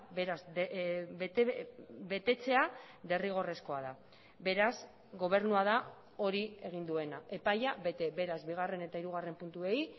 beraz betetzea derrigorrezkoa da beraz gobernua da hori egin duena epaia bete beraz bigarren eta hirugarren puntuei